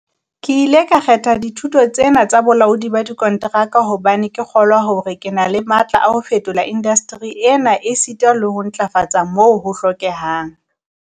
"Ke ile ka kgetha dithuto tse na tsa bolaodi ba dikonteraka hobane ke kgolwa hore ke na le matla a ho fetola indasteri ena esita le ho e ntlafatsa moo ho hlokehang."